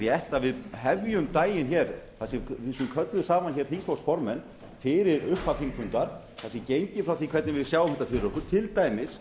rétt að við hefjum daginn að kallaðir séu saman þingflokksformenn fyrir upphaf þingfundar það sé gengið frá því hvernig við sjáum þetta fyrir okkur til dæmis